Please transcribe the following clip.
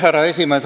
Härra esimees!